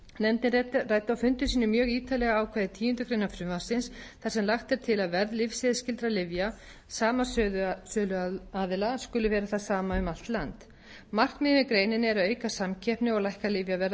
á fundum sínum mjög ítarlega ákvæði tíundu greinar frumvarpsins þar sem lagt er til að verð lyfseðilsskyldra lyfja sama söluaðila skuli vera það sama um allt land markmiðið með greininni er að auka samkeppni og lækka lyfjaverð á